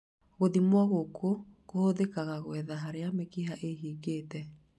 Gũthimwo gũkũ kũhũthĩkga ngwetha harĩa mĩkiha ĩhingĩkĩte